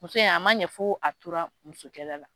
Muso in a ma ɲɛ fo a tora musokɛlɛ la